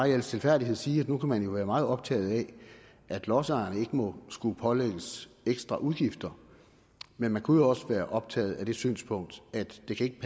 i al stilfærdighed sige at nu kan man jo være meget optaget af at lodsejerne ikke må skulle pålægges ekstra udgifter men man kunne også være optaget af det synspunkt at det ikke